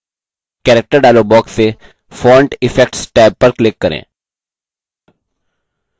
character dialog box से font effects tab पर click करें